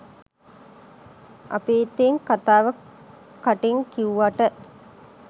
අපි ඉතින් කතාව කටින් කිව්වට